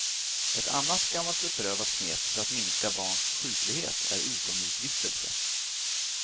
Ett annat gammalt beprövat knep för att minska barns sjuklighet är utomhusvistelse.